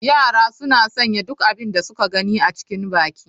Yara suna sanya duk abin da suka gani a cikin baki.